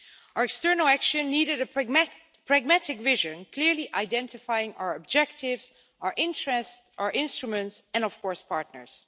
Our external action needed a pragmatic vision, clearly identifying our objectives, our interests, our instruments and of course our partners.